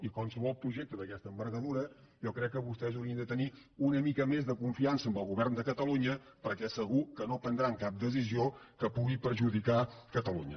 i en qualsevol projecte d’aquesta envergadura jo crec que vostès haurien de tenir una mica més de confiança en el govern de catalunya perquè segur que no prendran cap decisió que pugui perjudicar catalunya